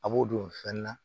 A b'o don fɛn na